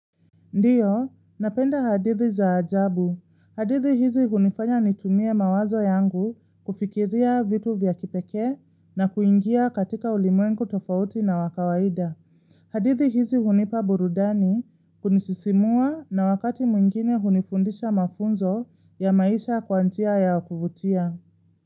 Ndiyo, napenda hadithi za ajabu. Hadithi hizi hunifanya nitumie mawazo yangu kufikiria vitu vyakipeke na kuingia katika ulimwengu tofauti na wakawaida. Hadithi hizi hunipa burudani kunisisimua na wakati mwingine hunifundisha mafunzo ya maisha kwanjia ya kuvutia.